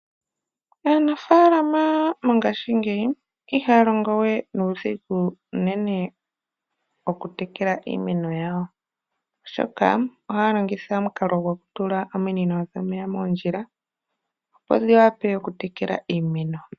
Aanafalama mongashingeyi ihaya longowe nuudhigu unene okutekela iimeno yawo, oshoka ohaya longitha omukalo gwokutula ominino dhomeya moondjila opo dhiwape okutekela iimeno.